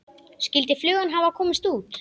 Skyldi flugan hafa komist út?